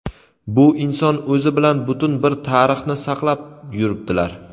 bu inson o‘zi bilan butun bir tarixni saqlab yuribdilar.